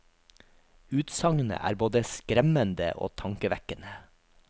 Utsagnet er både skremmende og tankevekkende.